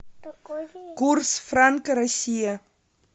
курс франка россия